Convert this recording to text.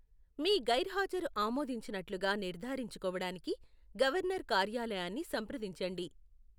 మీ గైర్హాజరు ఆమోదించినట్లుగా నిర్ధారించుకోవడానికి గవర్నర్ కార్యాలయాన్ని సంప్రదించండి.